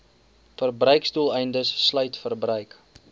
verbruiksdoeleindes sluit verbruik